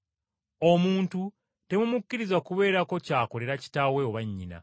“Omuntu temumukkiriza kubeerako ky’akolera kitaawe oba nnyina.